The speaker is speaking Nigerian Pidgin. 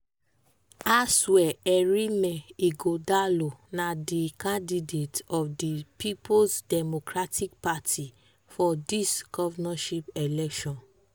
asuerinme ighodalo na di candidate of di peoples democratic party (pdp) for dis govnorship election.